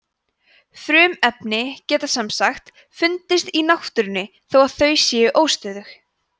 frumefni geta sem sagt fundist í náttúrunni þó að þau séu óstöðug